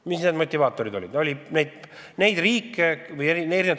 Mis need motivaatorid olid?